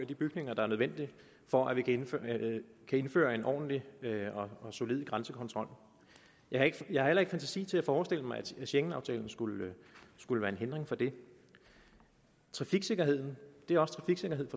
de bygninger der er nødvendige for at indføre en ordentlig og solid grænsekontrol jeg har heller ikke fantasi til at forestille mig at schengenaftalen skulle skulle være en hindring for det trafiksikkerhed er også trafiksikkerhed